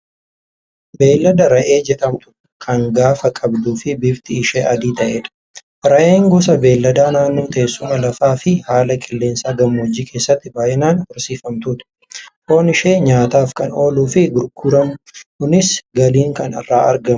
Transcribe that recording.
Beeyilada re'ee jedhamtu kan gaafa qabduu fi bifti ishee adii ta'edha. Re'een gosa beeladaa naannoo teessuma lafaa fi haala qilleensaa gammoojjii keessatti baay'inaan horsiifamtudha. Foon ishee nyaataaf kan ooluu fi gurguramuunis galiin kan irraa argamudha.